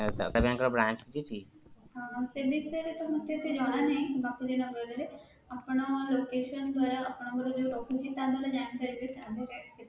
ହଁ, ସେ ବିଷୟ ରେ ମତେ ଏତେ ଜଣା ନାହିଁ ବାପୁଜୀ ନଗର ରେ ଆପଣ location ଧର ଆପଣଙ୍କର ଯୋଉ ରହୁଛି ତା ନହେଲେ ଜାଣି ପାରିବିବେନି